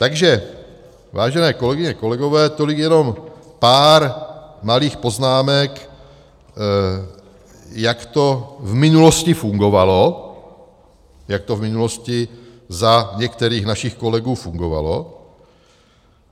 Takže vážené kolegyně, kolegové, tolik jenom pár malých poznámek, jak to v minulosti fungovalo, jak to v minulosti za některých našich kolegů fungovalo.